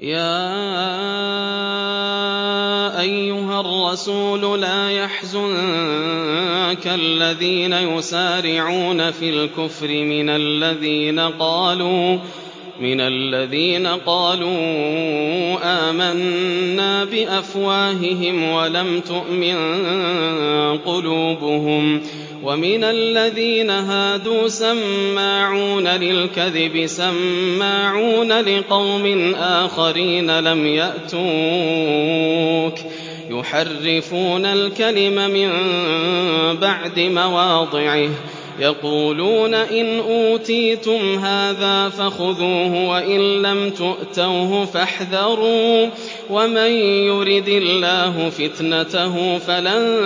۞ يَا أَيُّهَا الرَّسُولُ لَا يَحْزُنكَ الَّذِينَ يُسَارِعُونَ فِي الْكُفْرِ مِنَ الَّذِينَ قَالُوا آمَنَّا بِأَفْوَاهِهِمْ وَلَمْ تُؤْمِن قُلُوبُهُمْ ۛ وَمِنَ الَّذِينَ هَادُوا ۛ سَمَّاعُونَ لِلْكَذِبِ سَمَّاعُونَ لِقَوْمٍ آخَرِينَ لَمْ يَأْتُوكَ ۖ يُحَرِّفُونَ الْكَلِمَ مِن بَعْدِ مَوَاضِعِهِ ۖ يَقُولُونَ إِنْ أُوتِيتُمْ هَٰذَا فَخُذُوهُ وَإِن لَّمْ تُؤْتَوْهُ فَاحْذَرُوا ۚ وَمَن يُرِدِ اللَّهُ فِتْنَتَهُ فَلَن